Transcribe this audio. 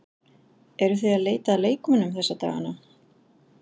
Eruð þið að leita að leikmönnum þessa dagana?